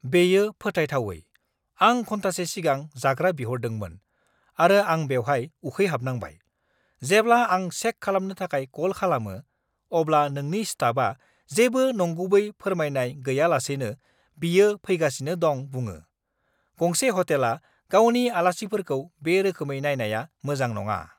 बेयो फोथायथावै! आं घन्टासे सिगां जाग्रा बिहरदोंमोन, आरो आं बेवहाय उखैहाबनांबाय। जेब्ला आं चेक खालामनो थाखाय कल खालामो, अब्ला नोंनि स्टाफआ जेबो नंगुबै फोरमायनाय गैयालासेनो बियो फैगासिनो दं बुङो। गंसे ह'टेला गावनि आलासिफोरखौ बे रोखोमै नायनाया मोजां नङा!